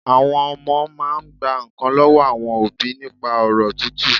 Àwọn Ọmọ máa n gba nkàn lọ́wọ́ àwọn òbí nípa ọ̀rọ̀ tútù